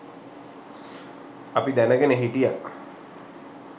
අපි දැන ගෙන හිටියා